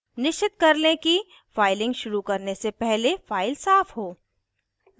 निश्चित कर लें कि फाइलिंग शुरू करने से पहले फाइल साफ़ हो